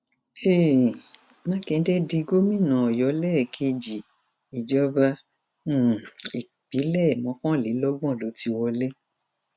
um mákindé di gómìnà ọyọ lẹẹkejì ìjọba um ìbílẹ mọkànlélọgbọn ló ti wọlé